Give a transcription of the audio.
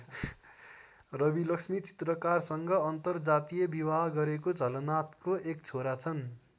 रविलक्ष्मी चित्रकारसँग अन्तर जातीय विवाह गरेको झलनाथको एक छोरा छन्।